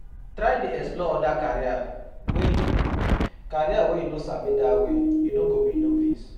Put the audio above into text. Try dey explore oda career wey yu career wey yu no sabi dat way yu no go bi novice